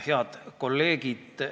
Head kolleegid!